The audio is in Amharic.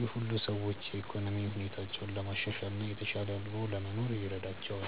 ይህ ሁሉ ሰዎች የኢኮኖሚ ሁኔታቸውን ለማሻሻል እና የተሻለ ኑሮ ለመኖር ይረዳቸዋል።